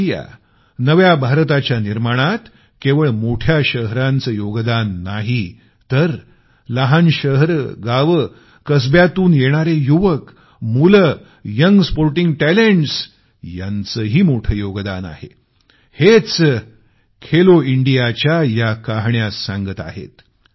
new इंडियानव्या भारताच्या निर्माणात केवळ मोठ्या शहरांच योगदान नाही तर लहान शहरं गावं कसब्यातून येणारे युवक मुलं यंग स्पोर्टिंग टॅलेंट्स यांचंही मोठं योगदान आहे हेच खेलो इंडियाच्या या कहाण्या सांगत आहेत